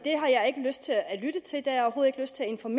… som